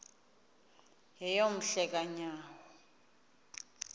yeyom hle kanyawo